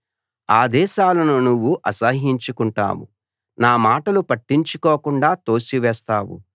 ఆదేశాలను నువ్వు అసహ్యించుకుంటావు నా మాటలు పట్టించుకోకుండా తోసివేస్తావు